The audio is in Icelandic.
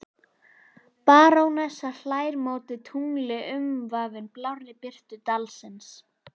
Barónessan hlær móti tungli umvafin blárri birtu dalsins.